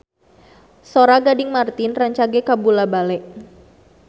Sora Gading Marten rancage kabula-bale